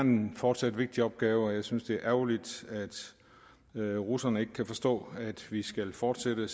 fortsat en vigtig opgave jeg synes det er ærgerligt at russerne ikke kan forstå at vi skal fortsætte